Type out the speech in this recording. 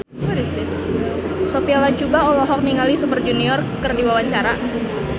Sophia Latjuba olohok ningali Super Junior keur diwawancara